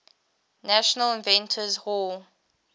national inventors hall